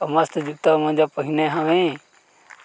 अउ मस्त जूता-मोजा पहने हवे